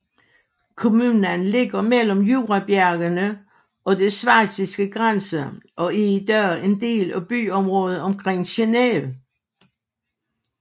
Kommunen ligger mellem Jurabjergene og den schweiziske grænse og er i dag en del af byområdet omkring Geneve